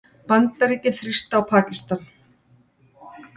Bandaríkin þrýsta á Pakistan